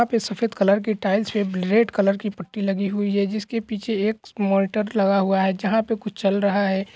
यहाँ पे सफेद कलर की टाइल्स है रेड कलर की पट्टी लगी हुई है जिसके पीछे एक मॉनिटर लगा हुआ हे जहाँ पे कुछ चल रहा है।